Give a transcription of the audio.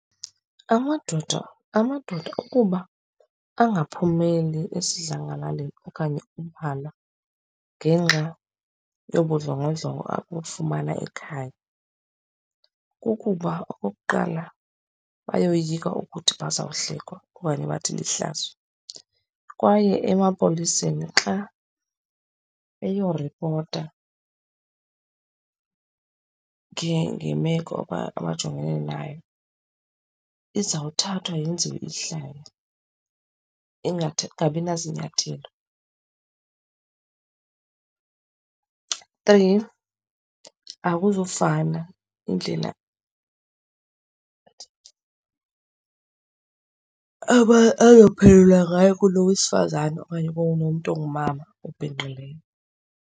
Amadoda, amadoda ukuba angaphumeli esidlangalaleni okanye ubala ngenxa yobundlongondlongo abufumana ekhaya kukuba okokuqala bayoyika ukuthi bazawuhlekwa okanye bathi lihlazo. Kwaye emapoliseni xa eyoripota ngemeko okanye abajongene nayo, izawuthathwa yenziwe ihlaya ingabinazinyathelo. Three, akuzufana indlela ayophendula ngayo kulo wesifazane okanye kulo mntu ongumama obhinqileyo.